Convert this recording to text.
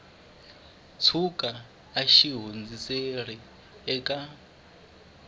tshuka a xi hundziserile eka